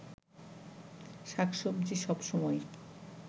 শাক-সবজি সব সময়ই